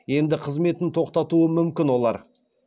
енді қызметін тоқтатуы мүмкін олар